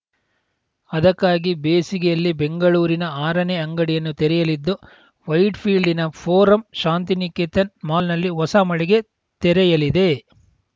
ಅದಕ್ಕಾಗಿ ಬೇಸಿಗೆಯಲ್ಲಿ ಬೆಂಗಳೂರಿನ ಆರನೇ ಅಂಗಡಿಯನ್ನು ತೆರೆಯಲಿದ್ದು ವೈಟ್‌ಫೀಲ್ಡಿನ ಫೋರಂ ಶಾಂತಿನಿಕೇತನ್‌ ಮಾಲ್‌ನಲ್ಲಿ ಹೊಸ ಮಳಿಗೆ ತೆರೆಯಲಿದೆ